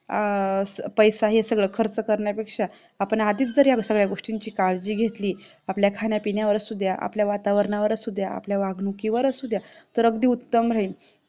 अं पैसा आपण हे सगळं खर्च करण्यापेक्षा आपण आधीच जर या गोष्टींची काळजी घेतली आपल्या खाण्यापिण्यावर असुद्या आपल्या वातावरणावर असुद्या आपल्या वागणुकीवर असुद्या तर अगदी उत्तम राहील